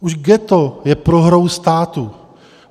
Už ghetto je prohrou státu.